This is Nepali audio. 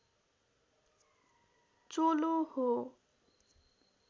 चोलो हो